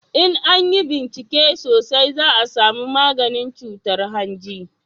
in an yi bincike sosai za a samu maganin cutar hanji